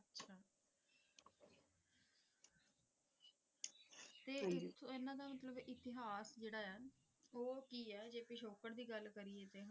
ਤੇ ਇਹਨਾਂ ਦਾ ਮਤਲਬ ਇਤਿਹਾਸ ਜਿਹੜਾ ਆ ਉਹ ਕੀ ਆ ਜੇ ਪਿਛੋਕੜ ਦੀ ਗੱਲ ਕਰੀਏ ਤੇ,